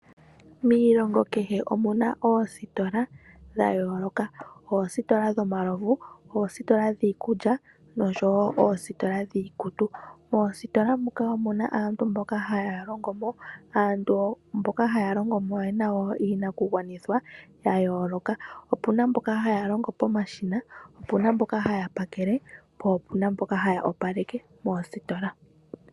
Miilongo kehe omu na oositola dha yooloka. Oositola dhomalovu, oositola dhiikulya osho wo oositola dhiikutu. Moositola muka omu na aantu mboka haya longo mo, aantu mboka haya longo mo oye na wo iinakugwanithwa ya yooloka, opu na mboka haya longo pomashina, opu na mboka haya pakele po opu na mboka haya opaleke moositola.